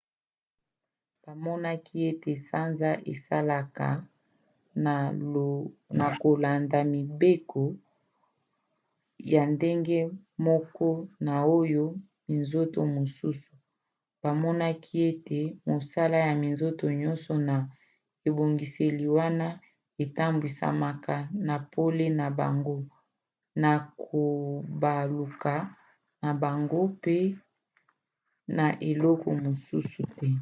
bamonaki ete sanza esalaka na kolanda mibeko ya ndenge moko na oyo ya minzoto mosusu: bamonaki ete mosala ya minzoto nyonso na ebongiseli wana etambwisamaka na pole na bango na kobaluka na bango pe na eloko mosusu te